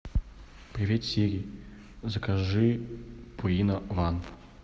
привет сири закажи пурина ван